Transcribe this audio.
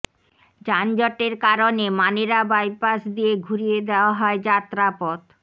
জানজটের কারণে মানেরা বাইপাস দিয়ে ঘুরিয়ে দেওয়া হয় যাত্রাপথ